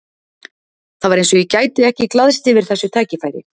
Það var eins og ég gæti ekki glaðst yfir þessu tækifæri.